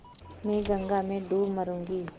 मैं गंगा में डूब मरुँगी